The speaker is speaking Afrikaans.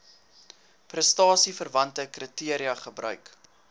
prestasieverwante kriteria gebruik